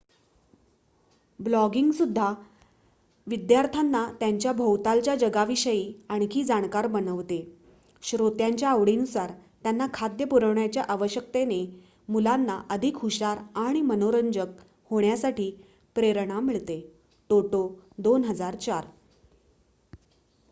"ब्लॉगिंगसुद्धा "विद्यार्थ्यांना त्यांच्या भोवतालच्या जगाविषयी आणखी जाणकार बनवते." श्रोत्यांच्या आवडींनुसार त्यांना खाद्य पुरविण्याच्या आवश्यकतेने मुलांना अधिक हुशार आणि मनोरंजक होण्यासाठी प्रेरणा मिळते टोटो २००४.